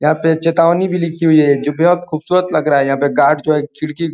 यहाँ पे चेतावनी भी लिखी हुई है जो बेहद खूबसूरत लग रहा है। यहाँ जो गार्ड है खिड़की --